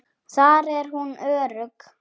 Þar er hún örugg.